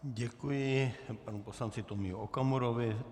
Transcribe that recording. Děkuji panu poslanci Tomio Okamurovi.